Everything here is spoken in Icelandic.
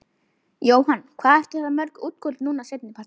Jóhann: Hvað eru þetta mörg útköll núna seinni partinn?